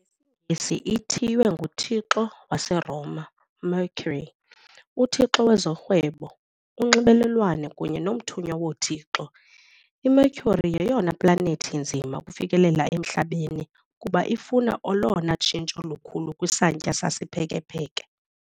NgesiNgesi, ithiywe ngothixo waseRoma, Mercury, uthixo wezorhwebo, unxibelelwano kunye nomthunywa woothixo. IMercury yeyona planethi inzima ukufikelela eMhlabeni kuba ifuna olona tshintsho lukhulu kwisantya sesiphekepheke .